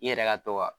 I yɛrɛ ka to ka